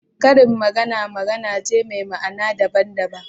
Karin magana magana ce me ma'ana daban daban